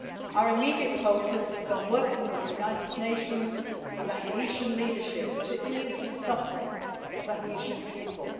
Our immediate focus is on working with the United Nations and the Haitian leadership to ease the suffering of the Haitian people.